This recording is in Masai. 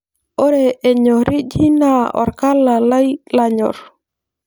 Ore enyoriji naa orkala lai lanyor.